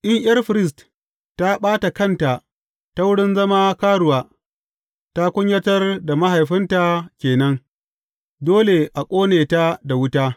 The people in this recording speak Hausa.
In ’yar firist ta ɓata kanta ta wurin zama karuwa, ta kunyatar da mahaifinta ke nan; dole a ƙone ta da wuta.